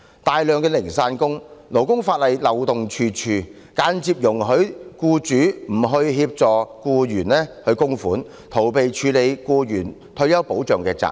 大量的零散工，勞工法例漏洞處處，間接容許僱主不為僱員供款，逃避僱員退休保障的責任。